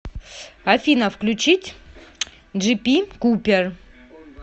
афина включить джипи купер